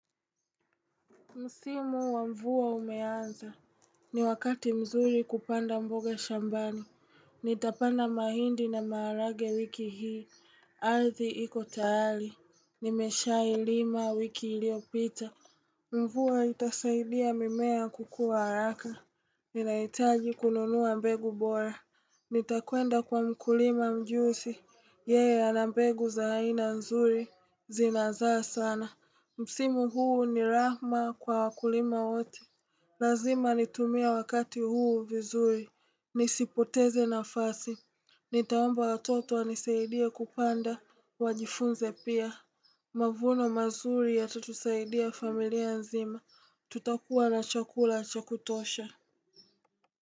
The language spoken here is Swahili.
Msimu wa mvua umeanza, ni wakati mzuri kupanda mboga shambani. Nitapanda mahindi na maharage wiki hii, ardhi iko tayali, nimesha ilima wiki ilio pita. Mvua itasaidia mimea kukua haraka, ninaitaji kununuwa mbegu bora. Nitakwenda kwa mkulima mjusi, yeye ana mbegu za aina nzuri, zinazaa sana. Msimu huu ni rahma kwa wakulima wote Lazima nitumie wakati huu vizuri Nisipoteze na fasi Nitaomba watoto wanisaidie kupanda Wajifunze pia Mavuno mazuri ya tatusaidia familia nzima Tutakuwa na chakula cha kutosha.